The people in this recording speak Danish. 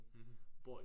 Mh